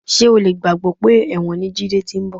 Ṣé o lè gbàgbé pé ẹ̀wọ̀n ni Jídé ti ń bọ̀?